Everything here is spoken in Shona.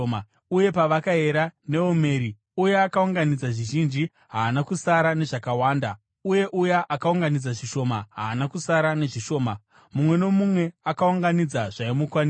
Uye pavakayera neomeri, uya akaunganidza zvizhinji haana kusara nezvakawanda, uye uya akaunganidza zvishoma haana kusara nezvishoma. Mumwe nomumwe akaunganidza zvaimukwanira.